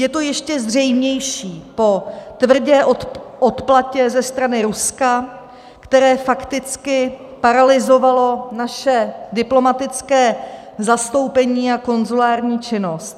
Je to ještě zřejmější po tvrdé odplatě ze strany Ruska, které fakticky paralyzovalo naše diplomatické zastoupení a konzulární činnost.